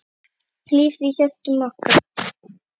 Þú lifir í hjörtum okkar.